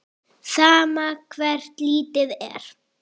Sama hvert litið er.